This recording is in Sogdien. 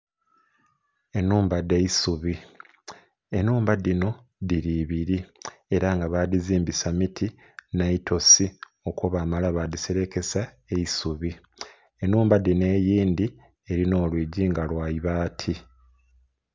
Enhumba dha isubi enhumba dhino dhiri ebiri era nga badhizimbisa miti ne itosi okwo bamala badhiselekesa eisubi enhumba dhino eindhi eli n'olwigyi nga lwa ibaati.